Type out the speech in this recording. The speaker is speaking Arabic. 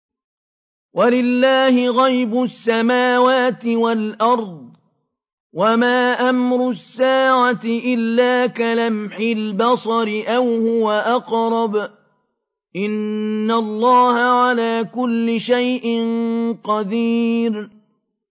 وَلِلَّهِ غَيْبُ السَّمَاوَاتِ وَالْأَرْضِ ۚ وَمَا أَمْرُ السَّاعَةِ إِلَّا كَلَمْحِ الْبَصَرِ أَوْ هُوَ أَقْرَبُ ۚ إِنَّ اللَّهَ عَلَىٰ كُلِّ شَيْءٍ قَدِيرٌ